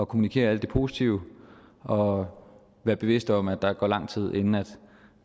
kommunikere alt det positive og være bevidste om at der at gå lang tid inden